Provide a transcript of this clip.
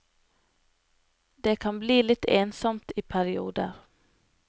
Det kan bli litt ensomt i perioder.